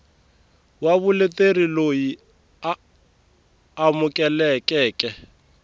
wa vuleteri loyi a amukelekeke